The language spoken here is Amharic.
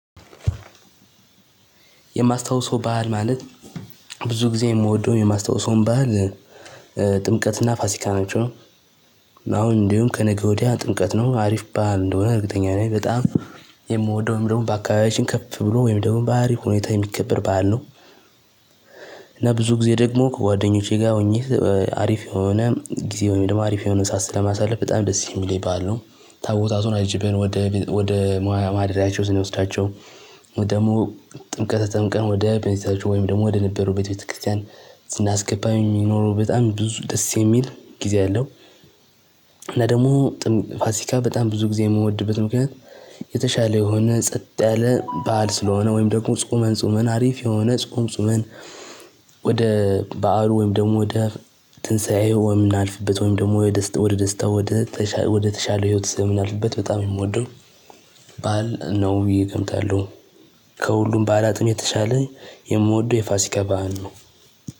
የማስታውሰው በዓል ማለት ብዙ ጊዜ የምወደውም የማስታውሰውም በዓል ጥምቀት ፋሲካ ናቸው። አሁን እንደውም ከነገ ወዲያ ጥምቀት ነው አሪፍ በዓል እንደሆነ እርግጠኛ ነኝ። በጣም የምወደው ወይም ደግሞ በአካባቢያችን ከፍ ብሎ ወይም ደግሞ በአሪፍ ሁኔታ የሚከበር በዓል ነው። ጊዜ ደግሞ ከጓደኞቼ ጋር ሆኜ አሪፍ የሆነ ጊዜ ወይም ደግሞ አሪፍ የሆነ ሰዓት ስለማሳልፍ በጣም ደስ የሚለኝ በዓል ነው። ታቦታቱን አጅበን ወደ ወደ መዋያ ማደሪያቸው ስንወስዳቸው ደግሞ ጥምቀት ተጠምቀን ወደ ቤተክርስቲያን ወይም ደግሞ ወደ ነበሩበት ቤት ቤተክርስቲያን ስናስገባ የሚኖረው በጣም ብዙ ደስ የሚል ጊዜ አለው። እና ደግሞ ፋሲካ በጣም ብዙ ጊዜ የምወድበት ምክንያት። የተሻለ የሆነ ጸጥ ያለ በዓል ስለሆነ ወይም ደግሞ ጾመን ጾመን አሪፍ የሆነ ጾም ጾመን። ወደ በዓሉ ወይም ደግሞ ወደ ትንሳኤው ወይ የምናልፍበት ወይም ደግሞ ወደ ደስታው ወደ ወደተሻለ ህይወት ስለምናልፍበት በጣም ነው የምወደው በዓል ነው ብዬ እገምታለው። ከሁሉም በዓላትም የተሻለ የምወደው የፋሲካ በዓል ነው።